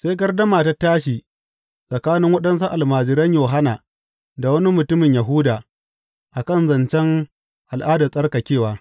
Sai gardama ta tashi tsakanin waɗansu almajiran Yohanna da wani mutumin Yahuda a kan zancen al’adar tsarkakewa.